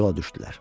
Yola düşdülər.